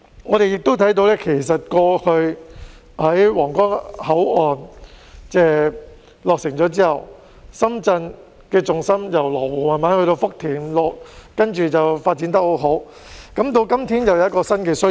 我們亦看到，過去皇崗口岸落成後，深圳的重心逐漸由羅湖移至福田，然後發展得十分好；到今天，又有新的需要。